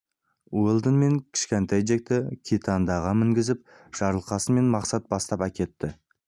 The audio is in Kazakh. уэлдон мен кішкентай джекті китандаға мінгізіп жарылқасын мен мақсат бастап әкетті